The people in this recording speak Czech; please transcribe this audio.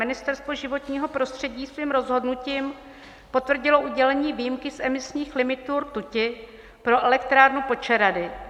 Ministerstvo životního prostředí svým rozhodnutím potvrdilo udělení výjimky z emisních limitů rtuti pro elektrárnu Počerady.